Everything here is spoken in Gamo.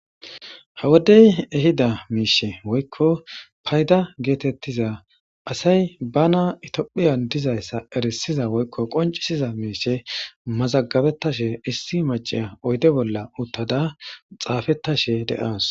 Hawodey ehida miishe woykko payda geetettiza asay bana itophiyan dizayssa erisiza woykko qoncisiza miishe mazagabettashe issi maciya oyde bolla uttada xaafettashe de7aas